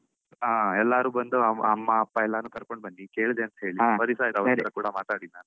ಆ ಎಲ್ಲರು ಬಂದು ಅಮ್ಮ ಅಪ್ಪ ಎಲ್ಲರನ್ನು ಕರ್ಕೊಂಡ್ ಬನ್ನಿ ಕೇಳ್ದೆ ಅಂತೇಳಿ, ತುಂಬ ದಿವ್ಸ ಆಯ್ತು ಅವ್ರತ್ರ ಕೂಡ ಮಾತಾಡಿ ನಾನು.